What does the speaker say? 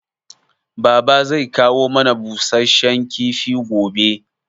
Baba zai kawo mana busasshen kifi gobe